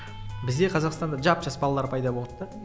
бізде қазақстанда жап жас балалар пайда болады да